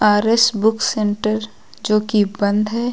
RS book centre जो की बंद है।